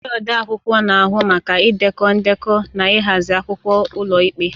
Ndị odeakwụkwọ na-ahụ maka idekọ ndekọ na ịhazi akwụkwọ ụlọikpe.